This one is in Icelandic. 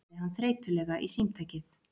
sagði hann þreytulega í símtækið.